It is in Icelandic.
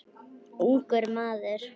Ungur maður.